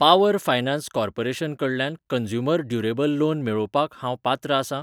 Power finance corporation कडल्यान consumer durable loan मेळोवपाक हांव पात्र आसां?